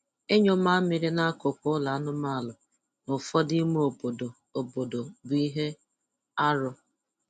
Ịnyụ mamịrị n'akụkụ ụlọ anụmanụ n'ụfọdụ ime obodo obodo bụ ihe arụ